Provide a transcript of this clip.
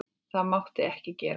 Það mátti ekki gerast.